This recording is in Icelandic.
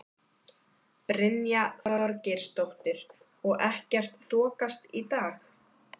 Brynja Þorgeirsdóttir: Og ekkert þokast í dag?